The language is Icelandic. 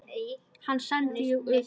Hann sendi ég utan.